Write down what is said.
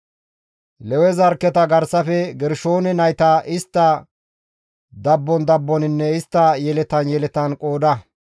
«Lewe zarkketa garsafe Gershoone nayta istta dabbon dabboninne istta yeletan yeletan qooda.